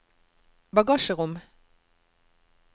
bagasjerom